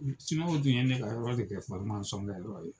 Siniwa tun ye ne ka yɔrɔ de kɛ fsɔrimasɔn kɛyɔrɔ ye